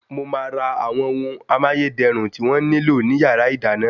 Mo ma ra àwọn ohun amáyéderùn tí wọ́n ńlò ní yàrá ìdáná